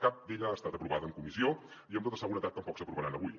cap d’elles ha estat aprovada en comissió i amb tota seguretat tampoc s’aprovaran avui